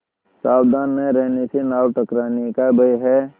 सावधान न रहने से नाव टकराने का भय है